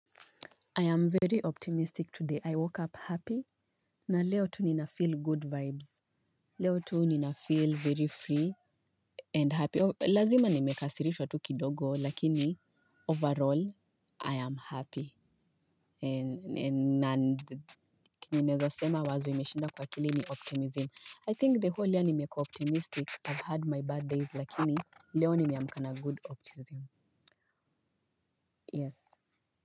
I am very optimistic today. I woke up happy. Na leo tu ninafeel good vibes. Leo tu ninafeel very free and happy. Lazima nimekasirishwa tu kidogo, lakini overall, I am happy. And ninaweza sema wazo imeshinda kwa akili ni optimism. I think the whole year nimekuwa optimistic, I've had my bad days, lakini leo nimeamka na good optimism. Yes.